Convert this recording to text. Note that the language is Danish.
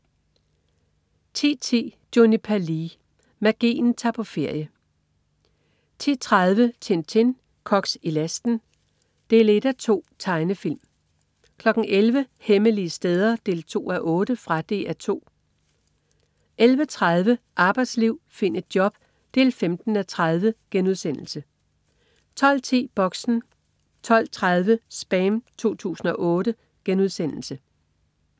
10.10 Juniper Lee. Magien tager på ferie 10.30 Tintin. Koks i lasten, 1:2. Tegnefilm 11.00 Hemmelige steder 2:8. Fra DR 2 11.30 Arbejdsliv. Find et job 15:30* 12.10 Boxen 12.30 SPAM 2008*